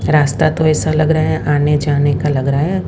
रास्ता तो ऐसा लग रहा है आने जाने का लग रहा है।